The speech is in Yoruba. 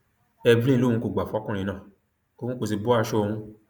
evelyn lòun kò gbà fún ọkùnrin náà òun kó sì bọ aṣọ òun